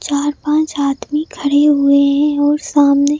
और पांच आदमी खड़े हुए हैं और सामने--